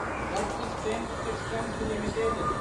persistent systems limited